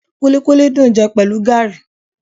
Kúlíkúlí dùn jẹ pẹ̀lú gaàrí